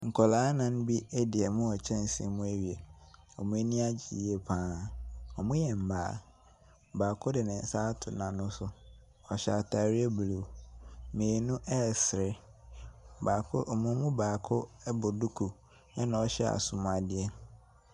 Nkwadaa anan bi adi ɔmo wɔ kyɛnsee mu awie. Wɔn ani agye yie pa ara. Wɔyɛ mmaa. Baako de ne nsa ato n'ano so. Ɔhyɛ atareɛ blue. Mmienu resere. Baako, wɔn mu baako bɔ duku na ɔhyɛ asomadeɛ.